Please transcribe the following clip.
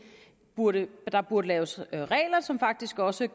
burde burde laves regler som faktisk også